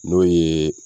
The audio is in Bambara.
N'o ye